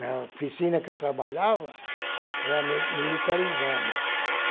Na oficina que eu trabalhava, era mi militarizado.